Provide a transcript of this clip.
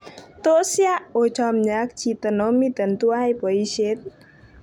Tos ya ochomie ak chito nomiten tuwan boishet?